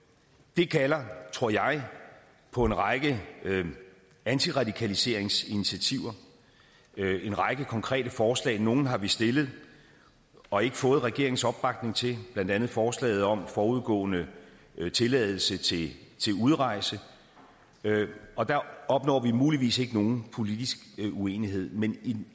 det kalder tror jeg på en række antiradikaliseringsinitiativer en række konkrete forslag nogle har vi stillet og ikke fået regeringens opbakning til blandt andet forslaget om forudgående tilladelse til udrejse og der opnår vi muligvis ikke nogen politisk enighed men